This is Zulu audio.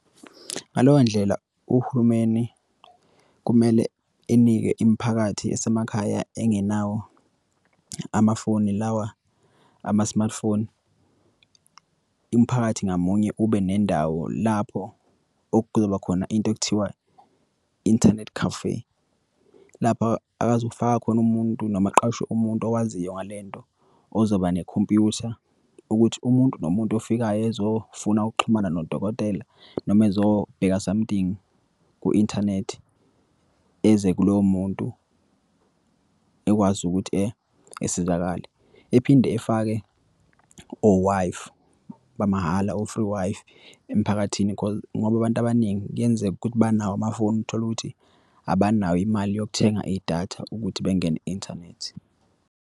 Ngaleyo ndlela, uhulumeni kumele enike imiphakathi asemakhaya engenawo amafoni lawa ama-smartphone. Imiphakathi ngamunye ube nendawo lapho okuzoba khona into ekuthiwa internet cafe. Lapha akazu kufaka khona umuntu noma aqashe umuntu owaziyo ngalento, ozoba nekhompyutha, ukuthi umuntu nomuntu ofikayo ezofuna ukuxhumana nodokotela, noma ezobheka somehting ku-inthanethi eze kuloyo muntu, ekwazi ukuthi esizakale. Ephinde efake o-Wi-Fi bamahhala, o-free Wi-Fi emphakathini ngoba abantu abaningi kuyenzeka ukuthi banawo amafoni, utholukuthi abanayo imali yokuthenga idatha ukuthi bengene inthanethi.